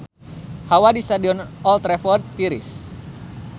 Hawa di Stadion Old Trafford tiris